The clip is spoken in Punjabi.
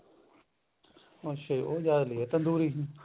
ਅੱਛਿਆ ਜੀ ਉਹ ਜਿਆਦਾ ਲਵੇ ਤੰਦੂਰੀ